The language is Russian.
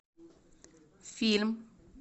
фильм